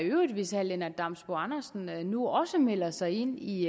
i øvrigt hvis herre lennart damsbo andersen nu også melder sig ind i